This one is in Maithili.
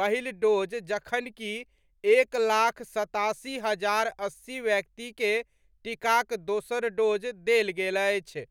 पहिल डोज जखनकि एक लाख सत्तासी हजार अस्सी व्यक्ति के टीकाक दोसर डोज देल गेल अछि।